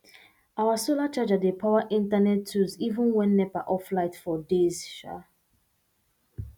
our solar charger dey power internet tools even when nepa off light for days um